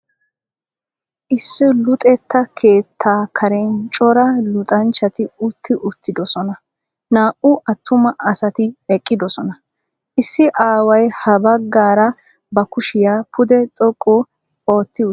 Issi luxetta keettaa karen cora luxanchchati utti uttidosona. Naa"u attuma asati eqqidosona. Issi aaway ha baggaara ba kushiya pudde xoqqu ootti uttiis.